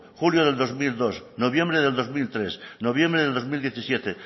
julio del dos mil dos noviembre del dos mil tres noviembre del dos mil diecisiete